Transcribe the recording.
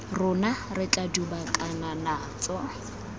rona re tla dubakana natso